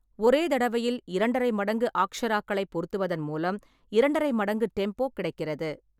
ஒரே தடவையில் இரண்டரை மடங்கு ஆக்ஷராக்களைப் பொருத்துவதன் மூலம் இரண்டரை மடங்கு டெம்போ கிடைக்கிறது.